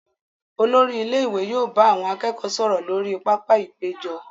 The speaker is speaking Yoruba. Olori ilé ìwé yóò bá àwọn akẹ́kọ̀ọ́ sọ̀rọ̀ lórí pápá-ìpéjọ.